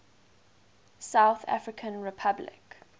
south african republic